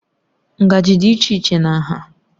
Ngaji dị iche iche na nha